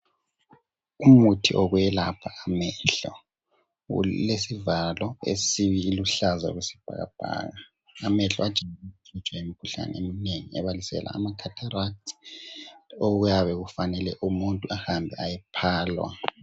Umuthi wokwelapha amehlo, ulesivalo esiluhlaza okwesibhakabhaka. Amehlo ajayelwa ukuhlaselwa yimikhuhlane eyehlukeneyo ebaliselwa amakhatherathi okuyabe kufanele umuntu ahambe ayephalwa.